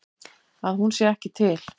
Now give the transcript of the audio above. Að hún sé ekki til.